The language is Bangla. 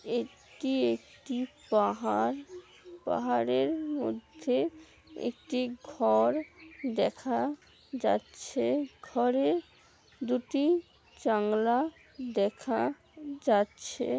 এটি একটি পাহাড়। পাহাড়ের মধ্যে একটি ঘর দেখা যাচ্ছে। ঘরে দুটি জানলা দেখা যাচ্ছে।